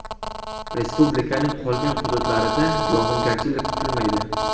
Respublikaning qolgan hududlarida yog‘ingarchilik kutilmaydi.